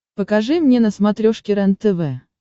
покажи мне на смотрешке рентв